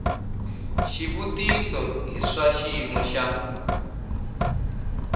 xivutiso i swa xiyimo xa